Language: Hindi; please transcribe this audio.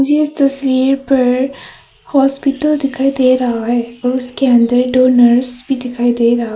इस तस्वीर पर हॉस्पिटल दिखाई दे रहा है और उसके अंदर दो नर्स भी दिखाई दे रहा--